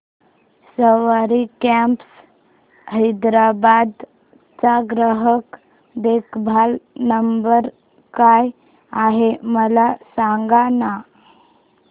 सवारी cabs Hyderabad चा ग्राहक देखभाल नंबर काय आहे मला सांगाना